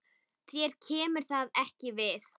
Þér kemur það ekki við.